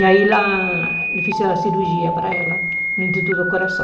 E aí ela fez a cirurgia para ela no Instituto do Coração.